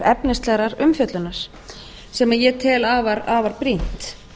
efnislegrar umfjöllunar sem ég tel afar brýnt